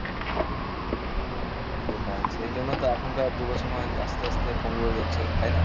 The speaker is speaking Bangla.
সেটাই সেজন্য তো এখনকার যুবসমাজ আস্তে আস্তে পঙ্গু হয়ে যাচ্ছে তাই না?